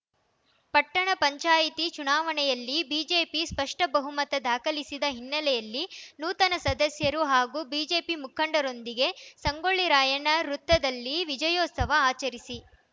ಪಟ್ಟಣ ಪಂಚಾಯಿತಿ ಚುನಾವಣೆಯಲ್ಲಿ ಬಿಜೆಪಿ ಸ್ಪಷ್ಟಬಹುಮತ ದಾಖಲಿಸಿದ ಹಿನ್ನೆಲೆಯಲ್ಲಿ ನೂತನ ಸದಸ್ಯರು ಹಾಗೂ ಬಿಜೆಪಿ ಮುಖಂಡರೊಂದಿಗೆ ಸಂಗೊಳ್ಳಿ ರಾಯಣ್ಣ ವೃತ್ತದಲ್ಲಿ ವಿಜಯೋತ್ಸವ ಅಚರಿಸಿ